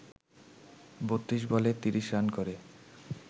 ৩২ বলে ৩০ রান করে